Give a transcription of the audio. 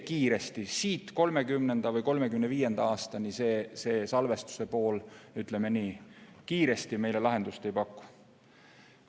Kiiresti, 2030. või 2035. aastaks salvestus meile lahendust ei paku.